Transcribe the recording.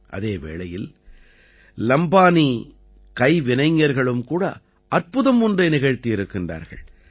அதே வேளையில் லம்பானி கைவினைஞர்களும் கூட அற்புதம் ஒன்றை நிகழ்த்தியிருக்கின்றார்கள்